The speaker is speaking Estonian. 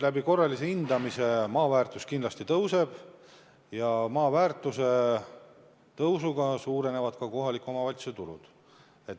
Korralise hindamise tulemusel maa väärtus kindlasti tõuseb ja maa väärtuse tõusuga suurenevad ka kohaliku omavalitsuse tulud.